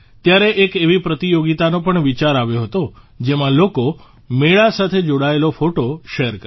ત્યારે એક એવી પ્રતિયોગિતાનો પણ વિચાર આવ્યો હતો જેમાં લોકો મેળા સાથે જોડાયેલો ફોટો શેર કરે